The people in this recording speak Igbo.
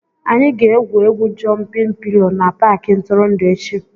Anyị ga-egwu egwu "jụmpịn pilo" na Paakị ntụrụndụ echi